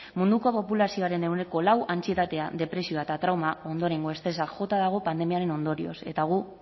munduko populazioaren ehuneko lau antsietatea depresioa eta trauma ondorengo estresa jota dago pandemiaren ondorioz eta gu